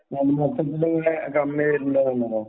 കമ്മിയായിട്ടുണ്ടാകും